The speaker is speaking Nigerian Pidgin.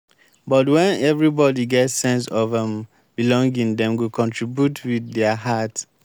but wen everybody get sense of um belonging dem go contribute with dia heart.